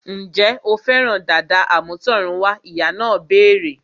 Ǹjẹ́ o fẹ́ràn dàda àmútọ̀runwá? Ìyá náà béèrè